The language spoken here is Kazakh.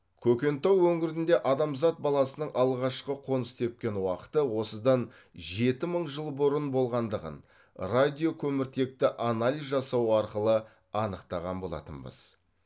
көкентау өңірінде адамзат баласының алғашқы қоныс тепкен уақыты осыдан жеті мың жыл мың бұрын болғандығын радиокөміртекті анализ жасау арқылы анықтаған болатынбыз